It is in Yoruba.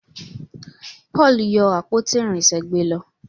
Paul yóò àpótí irinṣẹ gbé ló.